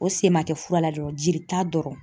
O sen ma kɛ fura la dɔrɔn jelita dɔrɔn.